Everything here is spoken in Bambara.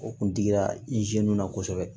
O kun digira i ziniw na kosɛbɛ